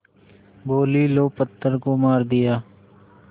बोलीं लो पत्थर को मार दिया